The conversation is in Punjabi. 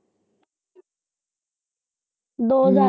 ਦੋ ਹਜ਼ਾਰ।